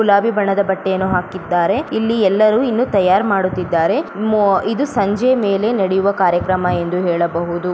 ಗುಲಾಬಿ ಬಣ್ಣದ ಬಟ್ಟೆಯನ್ನು ಹಾಕಿದ್ದಾರೆ ಇಲ್ಲಿ ಎಲ್ಲರೂ ಇನ್ನು ತಯಾರ್ ಮಾಡುತ್ತಿದ್ದಾರೆ ಮೂ ಇದು ಸಂಜೆಯ ಮೇಲೆ ನಡೆಯುವ ಕಾರ್ಯಕ್ರಮ ಎಂದು ಹೇಳಬಹುದು